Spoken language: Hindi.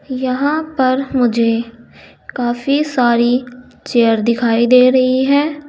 यहां पर मुझे काफी सारी चेयर दिखाई दे रही है।